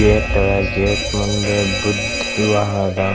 Gate gate ಮುಂದೆ ಬುದ್ದ್ ವಿವಾಹ ಅದ್ .